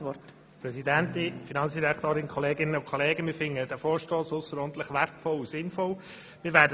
Wir finden diesen Vorstoss ausserordentlich wertvoll und sinnvoll.